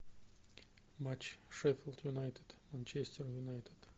матч шеффилд юнайтед манчестер юнайтед